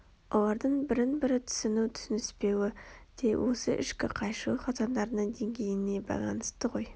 олардың бірін-бірі түсіну түсініспеуі де осы ішкі қайшылық заңдарының деңгейіне байланысты ғой